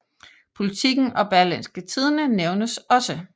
Politiken og Berlingske Tidende nævnes også